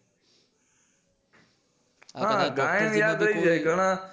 હા ગાયન યાદ રય જય ઘણા